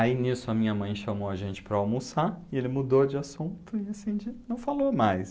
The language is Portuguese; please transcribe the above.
Aí nisso a minha mãe chamou a gente para almoçar e ele mudou de assunto e assim de, não falou mais.